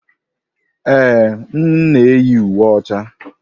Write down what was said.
Ee, m na-eyi uwe ọcha.